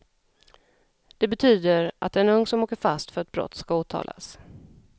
Det betyder att en ung som åker fast för ett brott ska åtalas.